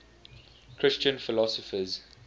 christian philosophers